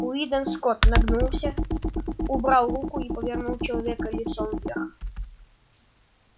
уидон скотт нагнулся убрал руку и повернул человека лицом вверх